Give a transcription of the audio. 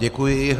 Děkuji.